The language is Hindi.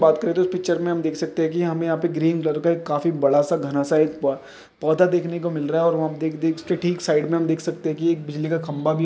बात करे तो इस पिक्चर मे हम देख सकते है की हमे यहा पे ग्रीन कलर का काफी बड़ा घना सा एक पोधा देखने को मिल रहा है देख देख के ठीक साइड मे देख सकते है की एक बिजली का खंबा बी--